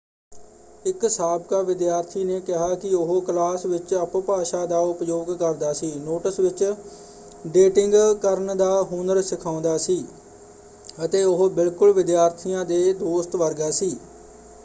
ਇੱਕ ਸਾਬਕਾ ਵਿਦਿਆਰਥੀ ਨੇ ਕਿਹਾ ਕਿ ਉਹ ' ਕਲਾਸ ਵਿੱਚ ਅਪਭਾਸ਼ਾ ਦਾ ਉਪਯੋਗ ਕਰਦਾ ਸੀ ਨੋਟਸ ਵਿੱਚ ਡੇਟਿੰਗ ਕਰਨ ਦਾ ਹੁਨਰ ਸਿਖਾਉਂਦਾ ਸੀ ਅਤੇ ਉਹ ਬਿਲਕੁਲ ਵਿਦਿਆਰਥੀਆਂ ਦੇ ਦੋਸਤ ਵਰਗਾ ਸੀ।